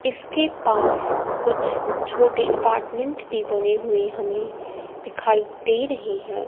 इसके पास कुछ छोटे अपार्टमेंट भी बने हुए हमें दिखाई दे रहे हैं।